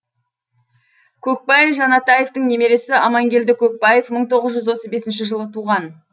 көкбай жанатаевтың немересі амангелді көкбаев мың тоғыз жүз отыз бесінші жылы туған